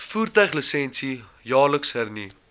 voertuiglisensie jaarliks hernu